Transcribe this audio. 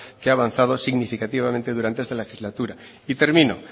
que ha avanzado significativamente durante esta legislatura y termino